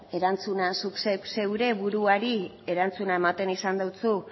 erantzuna zuk zeure buruari erantzuna eman izan dizu